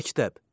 Məktəb.